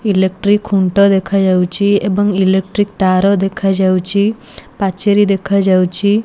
Electric ଖୁଣ୍ଟ ଦେଖାଯାଉଚି ଏବଂ ଇଲେକ୍ଟ୍ରିକ ତାର ଦେଖାଯାଉଚି ପାଚେରି ଦେଖାଯାଉଛି।